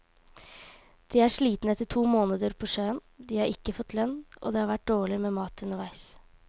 De er slitne etter to måneder på sjøen, de har ikke fått lønn, og det har vært dårlig med mat underveis.